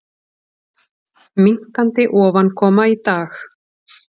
Minnkandi ofankoma í dag